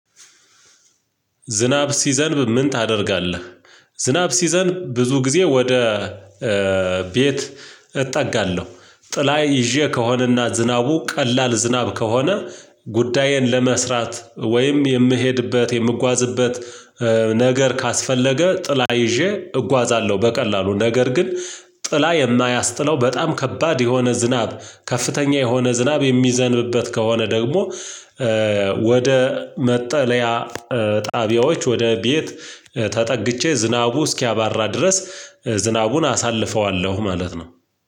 ዝናብ ሲዘንብ ምን ታደርጋለህ? ዝናብ ሲዘንብ ብዙ ጊዜ ወደ ቤት እጠጋለሁ። ጥላ ይዤ ከሆነና ዝናቡ ቀላል ዝናብ ከሆነ ጉዳየን ለመስራት ወይም የምሄድበት የምጓዝበት ነገር ካስፈለገ ጥላ ይዤ እጓዛለሁ። በቀላሉ ነገር ግን ጥላ የማያስጥለው በጣም ከባድ የሆነ ዝናብ ከፍተኛ የሆነ ዝናብ የሚዘንብበት ከሆነ ደግሞ ወደ መጠለያ ጣቢያዎች ወደ ቤት ተጠግቼ ዝናቡ እስኪያባራ ድረስ ዝናቡን አሳልፈዋለሁ። ማለት ነው